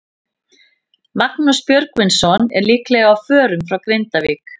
Magnús Björgvinsson er líklega á förum frá Grindavík.